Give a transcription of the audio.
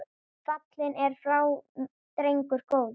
Fallinn er frá drengur góður.